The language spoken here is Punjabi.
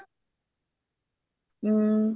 ਹਮ